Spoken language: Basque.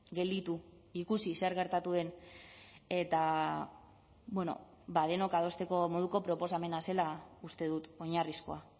gelditu ikusi zer gertatu den eta ba denok adosteko moduko proposamena zela uste dut oinarrizkoa